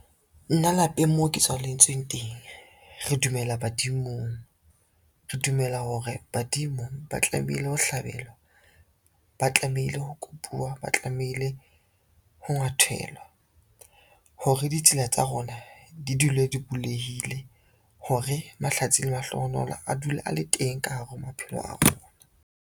Nna lapeng moo ke tswaletsweng teng, re dumela badimong. Re dumela hore badimo ba tlamehile ho hlabelwa, ba tlamehile ho kopuwa, ba tlamehile ho ngwathelwa, hore ditsela tsa rona di dule di bulehile hore mahlatsi le mahlohonolo a dule a le teng ka hara maphelo a rona.